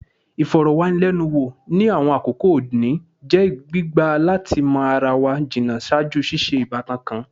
Ifọrọwanilẹnuwo, ni awọn akoko ode oni, jẹ gbigba lati mọ ara wa jinna ṣaaju ṣiṣe si ibatan kan